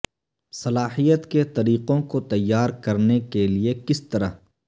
صلاحیت کے طریقوں کو تیار کرنے کے لئے کس طرح